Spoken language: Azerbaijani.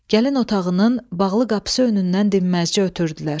Gəlin otağının bağlı qapısı önündən dinməzcə ötürdülər.